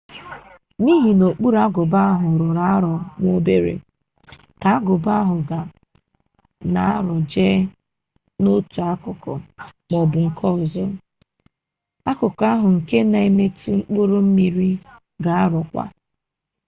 n'ihi na okpuru agụba ahụ rọrọ arọ nwa obere ka agụba ahụ na-arọje n'otu akụkụ maọbụ nke ọzọ akụkụ ahu nke na-emetụ mkpụrụ mmiri ga arọkwa